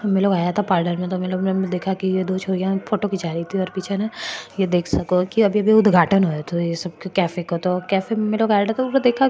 महे लोग आया था पार्लर में ये दो छोरिया फोटो खिच्चा रही थी और पिच न थे देख सको अभी भी उद्घाटन हो रहो है कैफ़े को --